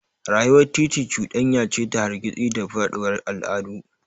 Rayuwar titi cuɗanya ce ta hargitsi da faɗuwar al'adu.